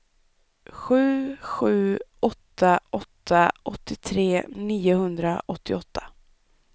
sju sju åtta åtta åttiotre niohundraåttioåtta